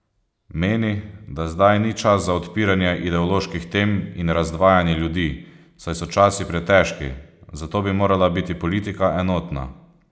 Meni, da zdaj ni čas za odpiranje ideoloških tem in razdvajanje ljudi, saj so časi pretežki, zato bi morala biti politika enotna.